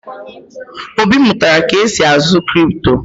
Obi mụtara ka esi azụ kripto